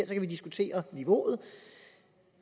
kan vi diskutere niveauet